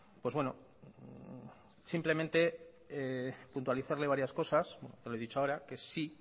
pues bueno simplemente puntualizarle varias cosas ya lo he dicho ahora que sí